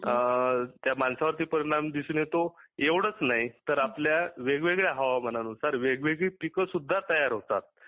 अ त्या माणसावरीत परिणाम दिसून येतो अवढच नाही तर आपल्या वेगवेगळ्या हवामाना नुसार वेगवेगळी पिके सुद्धा तयार होतात